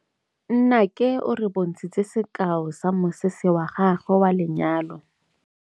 Nnake o re bontshitse sekaô sa mosese wa gagwe wa lenyalo.